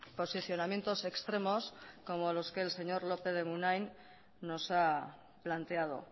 posicionamientos extremos como los que el señor lópez de munain nos ha planteado